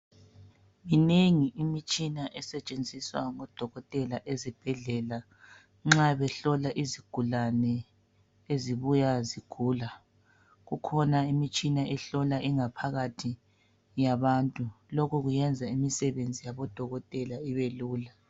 Minengi imitshina esetshenziswa ngodokotela ezibhedlela nxa behlola izigulane ezibuya zigula kukhona imitshina ehlola ingaphakathi yabantu lokhu kuyenza imisebenzi yabodokotela ibelula.